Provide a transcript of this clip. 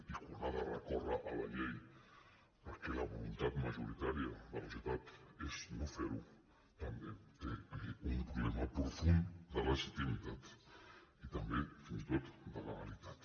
i quan ha de recórrer a la llei perquè la voluntat majoritària de la societat és no fer ho també té un problema profund de legitimitat i també fins i tot de legalitat